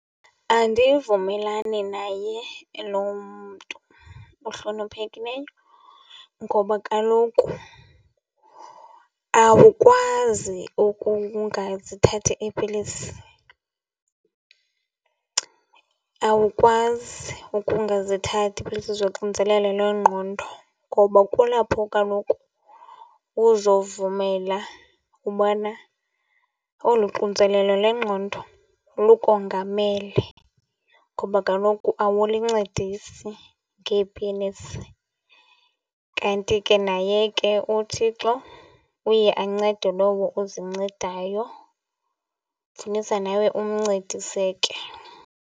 Andivumelani naye lo mntu uhloniphekileyo ngoba kaloku awukwazi ukungazithathi iipilisi. Awukwazi ukungazithathi iipilisi zoxinzelelo lwengqondo ngoba kulapho kaloku uzovumela ubana olu xinzelelo lwengqondo lukongamela ngoba kaloku awulincedisi ngeepilisi. Kanti ke naye ke uThixo uye ancede lowo uzincedayo, funisa nawe umncedise ke.